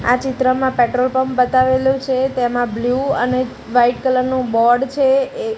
આ ચિત્રમાં petrol pump બતાવેલો છે તેમાં બ્લુ અને વાઈટ કલર નું બોર્ડ છે એ--